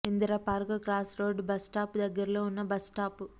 Indira park cross road bus stop దగ్గరలో ఉన్న bus stop